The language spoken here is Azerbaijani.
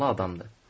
Canlı adamdır.